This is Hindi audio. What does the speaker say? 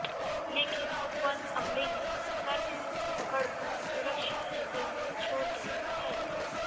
लेकिन वन अमले ने सर्प को पकड़कर सुरक्षित जंगल में छोड़ दिया है